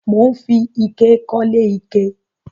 Mò ń fi ike kọ́lé ike